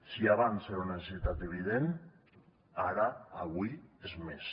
si abans era una necessitat evident ara avui ho és més